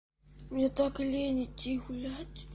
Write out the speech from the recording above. мне так лень идти гулять